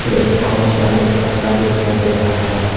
और एक orange colour का कपड़ा भी दिखाई दे रहा है।